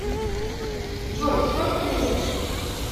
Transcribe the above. джой сколько весишь